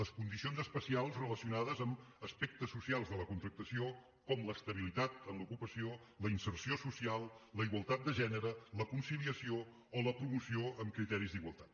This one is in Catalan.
les condicions especials relacionades amb aspectes socials de la contractació com l’estabilitat en l’ocupació la inserció social la igualtat de gènere la conciliació o la promoció amb criteris d’igualtat